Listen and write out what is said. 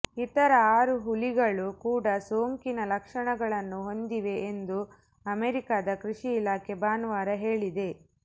ಇತರ ಆರು ಹುಲಿಗಳು ಕೂಡ ಸೋಂಕಿನ ಲಕ್ಷಣಗಳನ್ನು ಹೊಂದಿವೆ ಎಂದು ಅಮೆರಿಕಾದ ಕೃಷಿ ಇಲಾಖೆ ಭಾನುವಾರ ಹೇಳಿದೆ